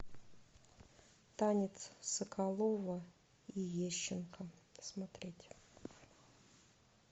танец соколова и ещенко смотреть